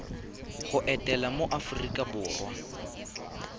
go etela mo aforika borwa